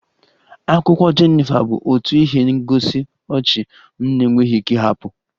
Akwụkwọ Jenifa bụ otu ihe ngosi ọchị m na-enweghị ike ịhapụ